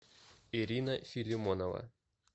ирина филимонова